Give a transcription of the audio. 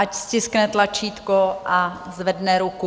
Ať stiskne tlačítko a zvedne ruku.